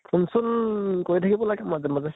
phone চোন কৰি থাকিব লাগে মাজে মাজে